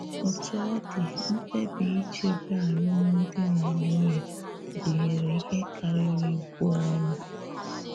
Otú ọ dị, mkpebi ichebe álụ́mdi na nwunye gụ̀nyere ihe karịrị ibù ọrụ.